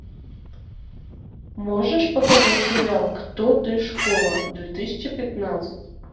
можешь показать сериал кто ты школа две тысячи пятнадцать